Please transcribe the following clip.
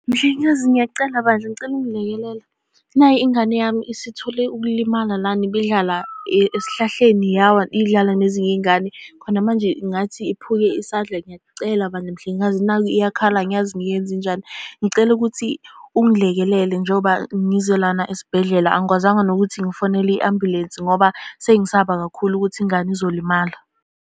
Mhlengikazi ngiyakucela bandla, ngicela ungilekelela. Nayi ingane yami isithole ukulimala lana, ibidlala esihlahleni yawa, idlala nezinye iy'ngane. Khona manje kungathi iphuke isandla. Ngiyakucela bandla mhlengikazi nakhu iyakhala angiyazi ngiyenze njani. Ngicela ukuthi ungilekelela njengoba ngize lana esibhedlela angikwazanga nokuthi ngifonele i-ambulensi ngoba sengisaba kakhulu ukuthi ingane izolimala.